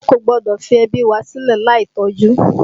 A kò gbọ́dọ̀ fi ẹbí wa sílè láì tọ́jú